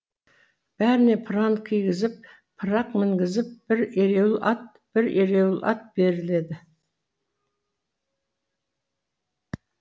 бәріне пыран кигізіп пырақ мінгізіп бір ереуіл ат бір ерулі ат беріледі